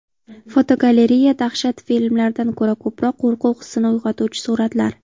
Fotogalereya: Dahshat filmlaridan ko‘ra ko‘proq qo‘rquv hissini uyg‘otuvchi suratlar.